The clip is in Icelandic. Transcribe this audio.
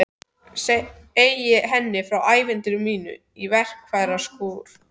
Segi henni frá ævintýri mínu í verkfæraskúrnum.